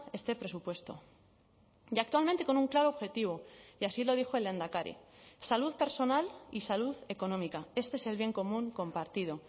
este presupuesto y actualmente con un claro objetivo y así lo dijo el lehendakari salud personal y salud económica este es el bien común compartido